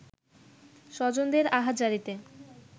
স্বজনদের আহাজারীতে